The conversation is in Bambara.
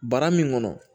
Bara min kɔnɔ